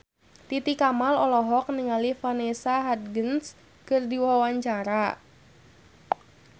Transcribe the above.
Titi Kamal olohok ningali Vanessa Hudgens keur diwawancara